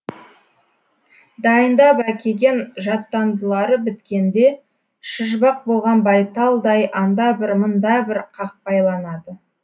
дайындап әкеген жаттандылары біткенде шыжбақ болған байталдай анда бір мында бір қақпайланады